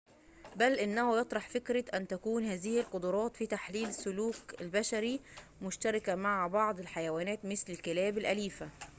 بل إنه يطرح فكرة أن تكون هذه القدرات في تحليل السلوك البشري مشتركة مع بعض الحيوانات مثل الكلاب الأليفة